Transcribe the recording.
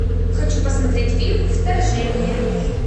хочу посмотреть фильм вторжение